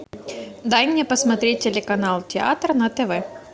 дай мне посмотреть телеканал театр на тв